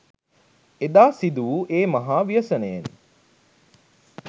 එදා සිදුවූ ඒ මහා ව්‍යසනයෙන්